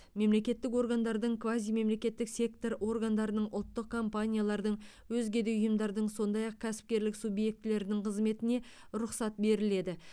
мемлекеттік органдардың квазимемлекеттік сектор органдарының ұлттық кампаниялардың өзге де ұйымдардың сондай ақ кәсіпкерлік субъектілерінің қызметіне рұқсат беріледі